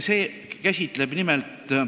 See käsitleb nimelt ...